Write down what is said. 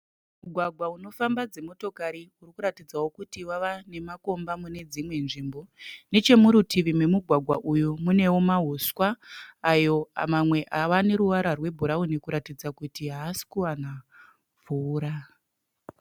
Mugwagwa unofamba dzimotokari uri kuratidzawo kuti wava nemakomba mune dzimwe nzvimbo. Nechemurutivi nemugwagwa uyu munewo mahuswa ayo mamwe ava neruvara rwebhurauni kuratidza kuti haasi kuwana mvura.